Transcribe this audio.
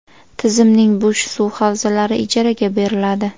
Tizimning bo‘sh suv havzalari ijaraga beriladi.